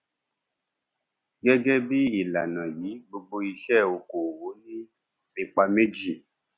gẹgẹ bí ìlànà yìí gbogbo ìṣe okòòwò ní ipa méjì